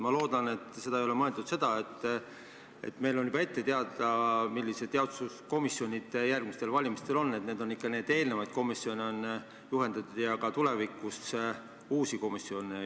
Ma loodan, et siin ei ole mõeldud seda, et meil on juba ette teada, millised jaoskonnakomisjonid järgmistel valimistel on, vaid et juhendatud on ikka eelmisi komisjone ja tulevikus juhendatakse uusi komisjone.